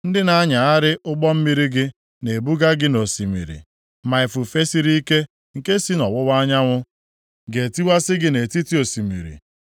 Ndị na-anyagharị ụgbọ mmiri gị na-ebuba gị nʼosimiri. Ma ifufe siri ike nke si nʼọwụwa anyanwụ ga-etiwasị gị nʼetiti osimiri.